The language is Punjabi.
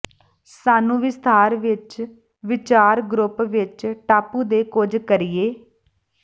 ਸਾਨੂੰ ਵਿਸਥਾਰ ਵਿਚ ਵਿਚਾਰ ਗਰੁੱਪ ਵਿੱਚ ਟਾਪੂ ਦੇ ਕੁਝ ਕਰੀਏ